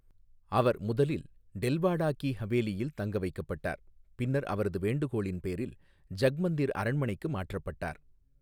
அவர் முதலில் டெல்வாடா கி ஹவேலியில் தங்கவைக்கப்பட்டார், பின்னர் அவரது வேண்டுகோளின் பேரில் ஜக்மந்திர் அரண்மனைக்கு மாற்றப்பட்டார்.